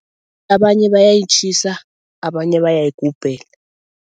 Abanye bayayitjhisa abanye bayayigubhela.